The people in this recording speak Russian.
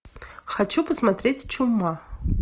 хочу посмотреть чума